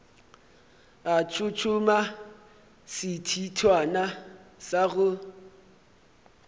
a tshotshoma sethithwana sa go